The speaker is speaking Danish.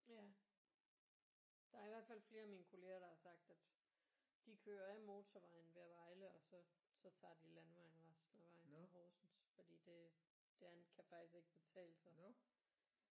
Ja der er i hvert fald flere af mine kolleger der har sagt at de kører af motorvejen ved Vejle og så så tager de landevejen resten af vejen til Horsens fordi det det andet kan faktisk ikke betale sig